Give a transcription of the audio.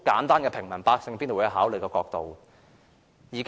這是平民百姓必定會考慮的簡單問題。